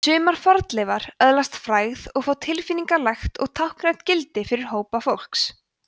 sumar fornleifar öðlast frægð og fá tilfinningalegt og táknrænt gildi fyrir hópa fólks